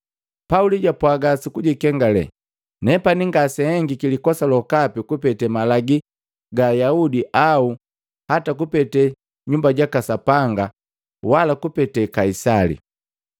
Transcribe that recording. Pauli japwaga sukujikengale, “Nepani ngase nhengiki likosa lokapi kupete malagi ga Ayaudi au ata kupete Nyumba jaka Sapanga wala kupete Kaisali.”